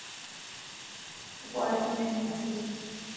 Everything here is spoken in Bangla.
তা পড়াশুনা কেমন চলছে?